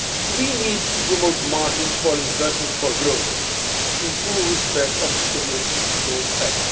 We need to promote margins for investment for growth, in full respect of the Stability and Growth Pact.